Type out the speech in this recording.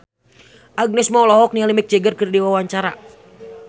Agnes Mo olohok ningali Mick Jagger keur diwawancara